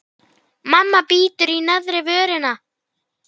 Það er í góðu lagi.